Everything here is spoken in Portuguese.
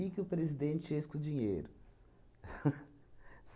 Que que o presidente fez com o dinheiro?